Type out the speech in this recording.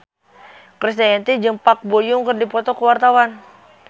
Krisdayanti jeung Park Bo Yung keur dipoto ku wartawan